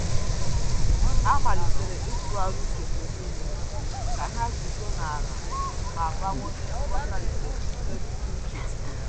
Há màlị́tèrè ítụ́gharị́a úchè mgbe nìile kà há gùzòó n’álá na ị́bàwànyé nghọta nke mmetụta úchè.